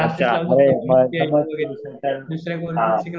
अच्छा. समज हा.